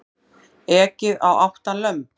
Ekið á átta lömb